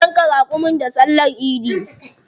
Za su yanka raƙumi da sallar idi.